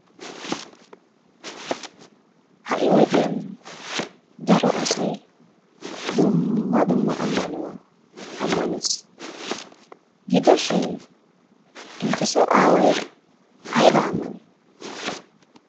Ha"i wodiyan daro asay dumma dumma ammanuwa ammanees. Gidoshin intteso aaway aybaa ammanii?